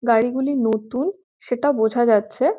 গাড়িগুলি নতুন সেটা বোঝা যাচ্ছে ।